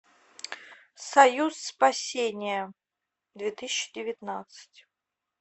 союз спасения две тысячи девятнадцать